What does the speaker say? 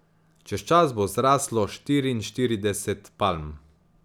Čez čas bo zraslo štiriinštirideset palm.